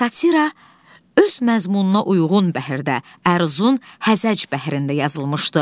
Satira öz məzmununa uyğun bəhirdə, əruzun həzəc bəhrində yazılmışdı.